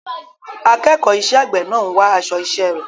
Akẹ́kọ̀ọ́ iṣẹ́ àgbẹ̀ náà ń wá aṣọ iṣẹ́ rẹ̀.